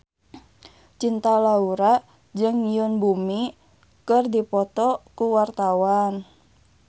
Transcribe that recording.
Cinta Laura jeung Yoon Bomi keur dipoto ku wartawan